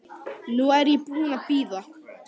Nú er ég búin að bíða.